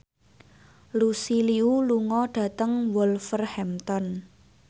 Lucy Liu lunga dhateng Wolverhampton